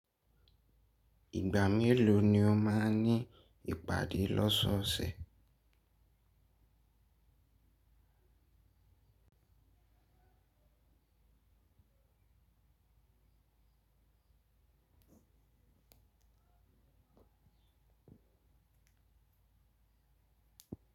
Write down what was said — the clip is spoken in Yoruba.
Ìgbà mélòó ni o máa ń ní ìpàdé lọ́sọ̀ọ̀sẹ̀?